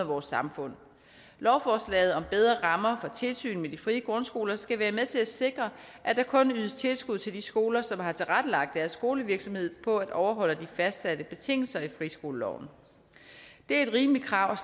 vores samfund lovforslaget om bedre rammer for tilsyn med de frie grundskoler skal være med til at sikre at der kun ydes tilskud til de skoler som har tilrettelagt deres skolevirksomhed på at overholde de fastsatte betingelser i friskoleloven det er et rimeligt krav